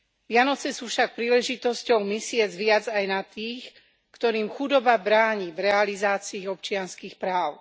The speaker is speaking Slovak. Vianoce sú však príležitosťou myslieť viac aj na tých, ktorým chudoba bráni v realizácii ich občianskych práv.